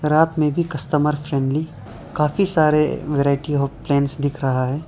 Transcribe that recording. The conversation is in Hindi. रात में भी कस्टमर फ्रेंडली काफी सारे वैरायटी आफ लाइंस दिख रहा है।